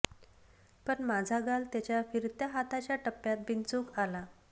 पण माझा गाल त्याच्या फिरत्या हाताच्या टप्प्यात बिनचूक आला